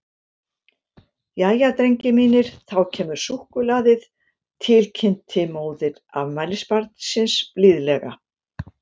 Jæja, drengir mínir, þá kemur súkkulaðið, til kynnti móðir afmælisbarnsins blíðlega.